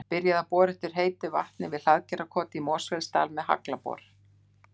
Byrjað að bora eftir heitu vatni við Hlaðgerðarkot í Mosfellsdal með haglabor.